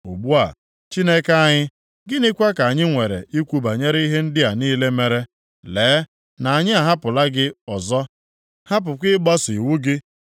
“Ugbu a, Chineke anyị, gịnịkwa ka anyị nwere ikwu banyere ihe ndị a niile mere? Lee na anyị ahapụla gị ọzọ, hapụkwa ịgbaso iwu gị,